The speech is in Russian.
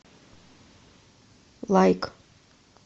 лайк